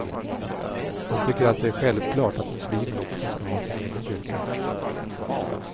Han tycker att det är självklart att muslimer också ska ha sin egen kyrka.